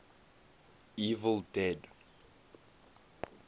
evil dead